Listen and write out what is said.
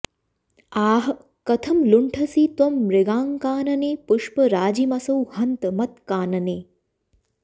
आः कथं लुण्ठसि त्वं मृगाङ्कानने पुष्पराजीमसौ हन्त मत्कानने